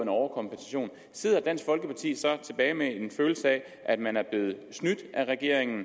overkompensation sidder dansk folkeparti tilbage med en følelse af at man er blevet snydt af regeringen